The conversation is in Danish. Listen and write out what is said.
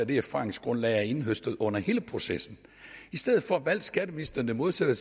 det erfaringsgrundlag jeg har indhøstet under hele processen i stedet valgte skatteministeren det modsatte